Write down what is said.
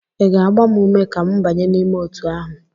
ị ga-agba m ume ka m banye n'ime otu ahụ?